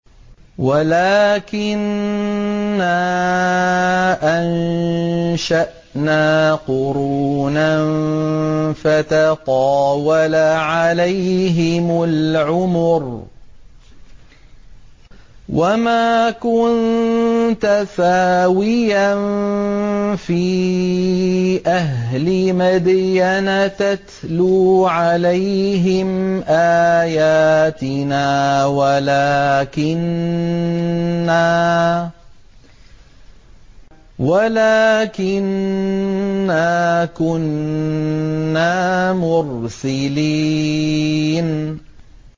وَلَٰكِنَّا أَنشَأْنَا قُرُونًا فَتَطَاوَلَ عَلَيْهِمُ الْعُمُرُ ۚ وَمَا كُنتَ ثَاوِيًا فِي أَهْلِ مَدْيَنَ تَتْلُو عَلَيْهِمْ آيَاتِنَا وَلَٰكِنَّا كُنَّا مُرْسِلِينَ